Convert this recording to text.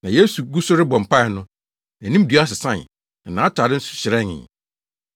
Na Yesu gu so rebɔ mpae no, nʼanimdua sesae, na nʼatade nso hyerɛnee.